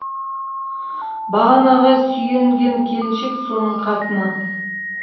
бағанаға сүйенген келіншек соның қатыны